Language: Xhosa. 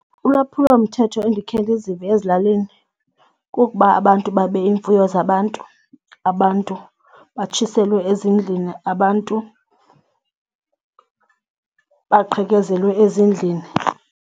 Ulwaphulomthetho endikhe ndizive ezilalini kukuba abantu babe iimfuyo zabantu, abantu batshiselwe ezindlini abantu, baqhekezelwe ezindlini.